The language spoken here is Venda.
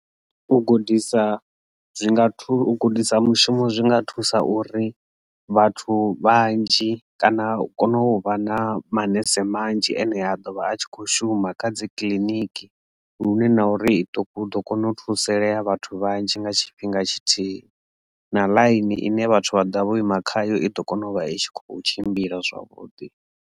U gudisa zwi nga thusa u gudisa mushumo zwinga thusa uri vhathu vhanzhi kana u kona u vha na manese manzhi ane a dovha a tshi kho shuma kha dzi kiḽiniki lune na uri i ṱuku u ḓo kona u thusalea vhathu vhanzhi nga tshifhinga tshithihi na ḽaini ine vhathu vha ḓa vho ima khayo i ḓo kona u vha itshi kho tshimbila zwavhuḓi.